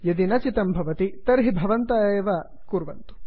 यदि न चितं भवति तर्हि भवन्तः एव तत् कुर्वन्तु